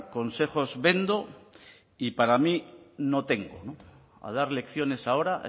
consejos vendo y para mí no tengo a dar lecciones ahora a